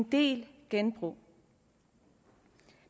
det genbrug